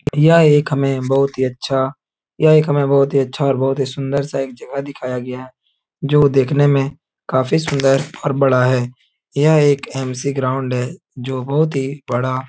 यह एक हमें बहुत ही अच्छा यह एक हमें बहुत ही अच्छा बहुत ही सुन्दर सा एक जगह दिखाया गया है जो देखने में काफी सुंदर और बड़ा है। यह एक एम.सी. ग्राउंड है जो बहुत ही बड़ा --